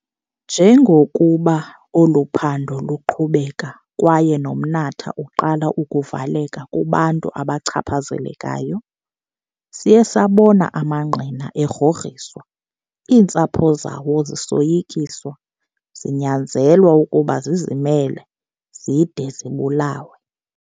Njengokuba olu phando luqhubeka kwaye nomnatha uqala ukuvaleka kubantu abachaphazelekayo, siye sabona amangqina egrogriswa, iintsapho zawo zisoyikiswa, zinyanzelwa ukuba zizimele, zide zibulawe.